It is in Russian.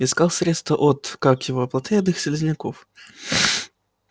искал средство от как его плотоядных слизняков